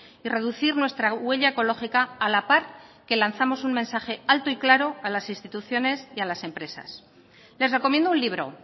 y reducir nuestra huella ecológica a la par que lanzamos un mensaje alto y claro a las instituciones y a las empresas les recomiendo un libro